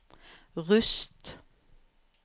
Rust